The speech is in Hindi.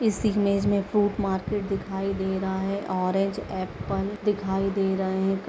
इस इमेज मे फ्रूट मार्केट दिखाई दे रहा है ऑरेंज एप्पल दिखाई दे रहे हैं।